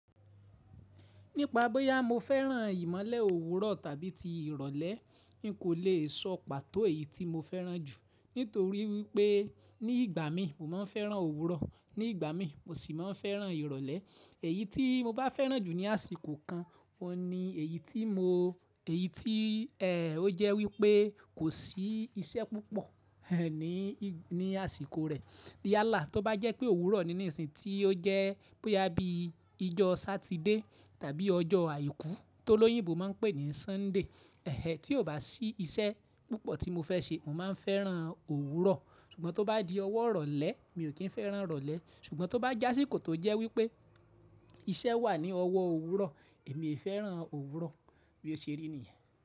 Nípa bóyá mo fẹ́ràn ìmọ́lẹ̀ òwúrọ̀ tàbí ti ìrọ̀lẹ́, n kò le sọ pàtó èyí tí mo fẹ́ràn jù. Nítorí wípé ní ìgbà mí mo máa ń fẹ́ràn òwúrọ̀, ní ìgbà mí mo sì máa ń fẹ́ràn ìrọ̀lẹ́. Èyí tí mo bá fẹ́ràn jù ní àsìkò kan, ọ ni èyí tí mo, èyí tí, ẹ́, ó jẹ́ wípé kò sí iṣẹ́ púpọ̀ ní, ní àsìkò rẹ. Yálà tó bá jẹ́ pé òwúrọ̀ nínú ìsìn tí ó jẹ́ bóyá bí ijọ́ Sátidé tàbí ọjọ́ Àìkú tó lóyìnbó máa ń pè ní Sunday, ẹhẹ tí ò bá sí iṣẹ́ púpọ̀ tí mo fẹ́ ṣe, mo máa ń fẹ́ràn òwúrọ̀. Ṣùgbọ́n tó bá di ọwọ́ ìrọ̀lẹ́ mi ò kí ń fẹ́ràn ìrọ̀lẹ́. Ṣùgbọ́n tó bá jásíkò tó jẹ́ wípé iṣẹ́ wà ní ọwọ́ òwúrọ̀, èmi e fẹ́ràn òwúrọ̀. Bí ó ṣe rí nìyẹn.